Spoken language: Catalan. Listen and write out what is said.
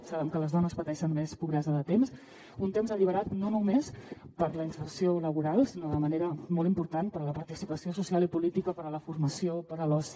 sabem que les dones pateixen més pobresa de temps un temps alliberat no només per a la inserció laboral sinó de manera molt important per a la participació social i política per a la formació per a l’oci